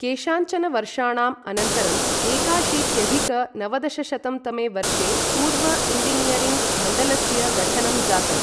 केषाञ्चन वर्षाणां अनन्तरं एकाशीत्यधिक नवदशशतं तमे वर्षे पूर्व इञ्जिनीयरिङ्ग मण्डलस्य गठनं जातम् ।